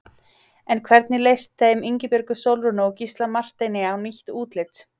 En hvernig leist þeim Ingibjörgu Sólrúnu og Gísla Marteini á nýtt útlit?